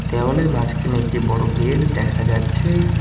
দেওয়ালের মাঝখানে একটি বড় গেট দেখা যাচ্ছে।